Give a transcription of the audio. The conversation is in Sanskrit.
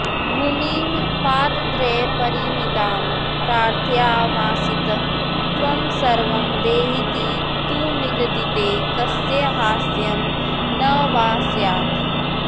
भूमिं पादत्रयपरिमितां प्रार्थयामासिथ त्वं सर्वं देहीति तु निगदिते कस्य हास्यं न वा स्यात्